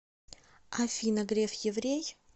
афина греф еврей